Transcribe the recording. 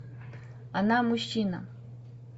она мужчина